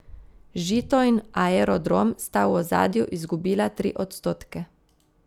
Žito in Aerodrom sta v ozadju izgubila tri odstotke.